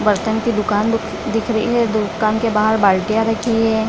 बर्तन की दुकान दी दिख रही है दुकान के बाहर बाल्टियाँ रखी है।